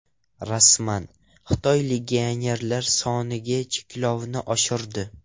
Rasman: Xitoy legionerlar soniga cheklovni oshirdi .